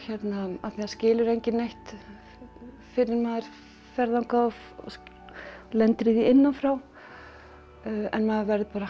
af því það skilur enginn neitt fyrr en maður fer þangað og lendir í því innan frá en maður verður bara